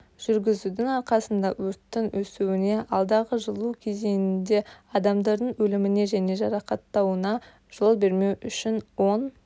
жүргізудің арқасында өрттің өсуіне алдағы жылу кезеңінде адамдардың өліміне және жарақаттануына жол бермеу үшін оң